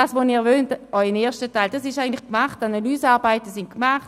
Das, was Sie auch im ersten Teil wollen, ist eigentlich erledigt.